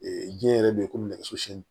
diɲɛ yɛrɛ bɛ ye ko nɛgɛso siyɛn